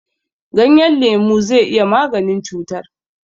Ganyen lemu zai yi maganin cutar.